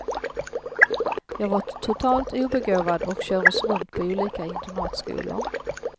Jag var totalt obegåvad och kördes runt på olika internatskolor.